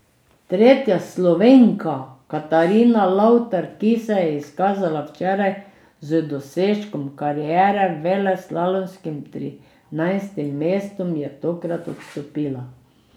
Tretja Slovenka Katarina Lavtar, ki se je izkazala včeraj z dosežkom kariere, veleslalomskim trinajstim mestom, je tokrat odstopila.